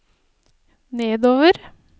nedover